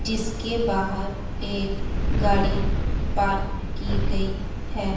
जीसके बाहर एक गाड़ी पार्क की गई है।